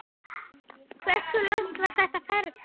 Hversu langt var þetta ferli?